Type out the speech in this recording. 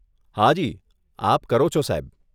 હાજી, આપ કરો છો સાહેબ.